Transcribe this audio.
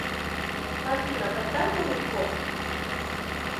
афина поставь онли хоп